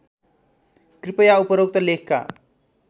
कृपया उपरोक्त लेखका